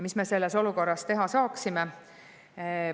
Mida me selles olukorras teha saame?